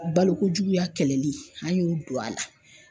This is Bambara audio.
Balokojuguya kɛlɛli an y'o don a la.